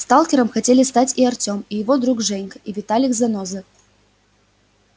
сталкером хотели стать и артем и его друг женька и виталик-заноза